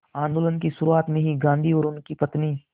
आंदोलन की शुरुआत में ही गांधी और उनकी पत्नी